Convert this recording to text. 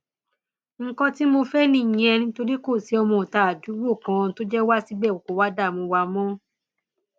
nǹkan tí mo fẹ nìyẹn nítorí kò sí ọmọọta àdúgbò kan tó jẹ wá síbẹ kó wá dààmú wa mọ